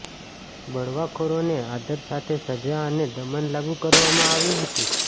બળવાખોરોને આદર સાથે સજા અને દમન લાગુ કરવામાં આવી હતી